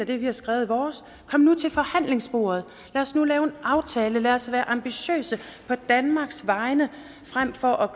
det vi har skrevet i vores kom nu til forhandlingsbordet lad os nu lave en aftale lad os være ambitiøse på danmarks vegne frem for at